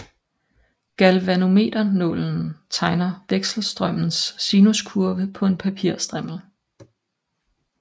Galvanometernålen tegner vekselstrømmens sinuskurve på en papirstrimmel